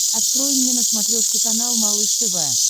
открой мне на смотрешке канал малыш тв